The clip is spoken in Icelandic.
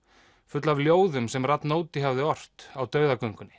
full af ljóðum sem Radnóti hafði ort á